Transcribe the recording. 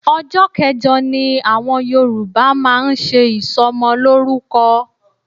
Ọjọ́ kẹjọ ni àwọn Yorùbá máa ń ṣe ìsọmọlórúkọ